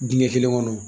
Dingɛ kelen kɔnɔ